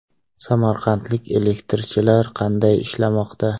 Samarqandlik elektrchilar qanday ishlamoqda?.